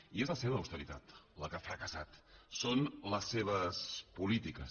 i és la seva austeritat la que ha fracassat són les seves polítiques